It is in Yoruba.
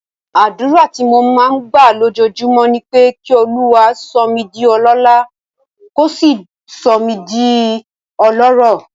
Àdúrà tí mò ń gbà lójoojúmọ́ ni pé kí Olúwa sọ mí di ọlọ́lá, kó sì sọ mí di ọlọ́rọ̀.